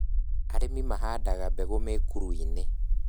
Arĩmi mahandaga mbegũ mĩkũru-inĩ